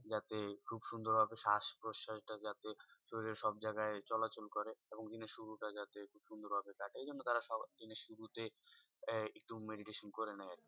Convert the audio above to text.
যাতে খুব সুন্দর ভাবে শ্বাস প্রশ্বাস টা যাতে শরীরের সব জায়গায় চলাচল করে এবং দিনের শুরু টা যাতে খুব সুন্দর ভাবে কাটে। এজন্য তারা দিনের শুরুতে আহ একটু meditation করে নেয় আরকি।